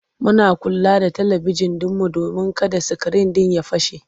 Muna kula da talibijin ɗinmu domin kada sikirin ɗin ya fashe.